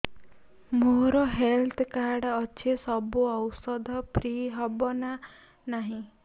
ମୋର health card ଅଛି ସବୁ ଔଷଧ ଫ୍ରି ହବ ନା ନାହିଁ